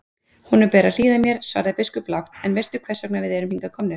Honum ber að hlýða mér, svaraði biskup lágt,-en veistu hvers vegna við erum hingað komnir?